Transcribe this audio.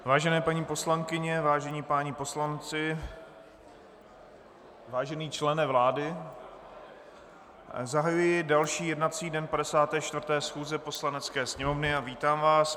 Vážené paní poslankyně, vážení páni poslanci, vážený člene vlády, zahajuji další jednací den 54. schůze Poslanecké sněmovny a vítám vás.